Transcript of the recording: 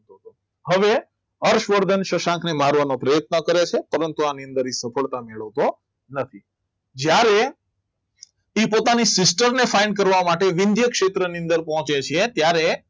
હવે હર્ષવર્ધન શશાંકને મારવાનો પ્રયત્ન કરે છે પરંતુ આની અંદર એક સફળતા નથી જ્યારે એ પોતાની sister ને find કરવા માટે ક્ષેત્રની અંદર પહોંચે છે ત્યારે